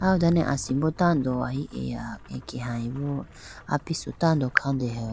Aw done asimbo tando ahi eya ekeyayibi apisu tando kha deha.